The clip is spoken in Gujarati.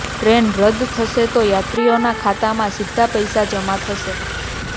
ટ્રેન રદ્દ થશે તો યાત્રીઓના ખાતામાં સીધા પૈસા જમા થશે